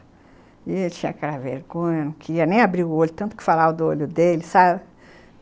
E ele tinha aquela vergonha, não queria nem abrir o olho, tanto que falava do olho dele, sabe?